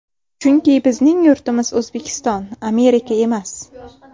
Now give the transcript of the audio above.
Chunki bizning yurtimiz O‘zbekiston, Amerika emas.